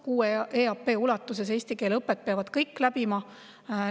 6 EAP ulatuses eesti keele õpet peavad kõik läbima.